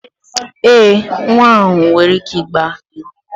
Ee, nwa ahụ nwere ike ịgba egwu